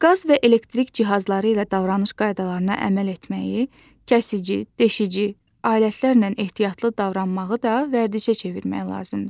Qaz və elektrik cihazları ilə davranış qaydalarına əməl etməyi, kəsici, deşici alətlərlə ehtiyatlı davranmağı da vərdişə çevirmək lazımdır.